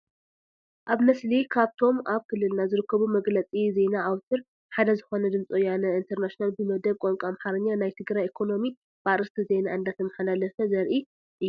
ኣብ ምስሊ ካብቶም ኣብ ክልልና ዝርከቡ መግለፂ ዜና ኣውትር ሓደ ዝኾነ ድምፂ ወያነ ኢንተርናሽናል ብመደብ ቋንቋ ኣምሓርኛ ናይ ትግራይ ኢኮኖሚ ብኣርእስተ ዜና እንዳተመሓላለፈ ዘርኢ እዩ፡፡